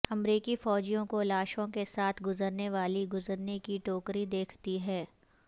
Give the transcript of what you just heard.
امریکی فوجیوں کو لاشوں کے ساتھ گزرنے والی گزرنے کی ٹوکری دیکھتی ہے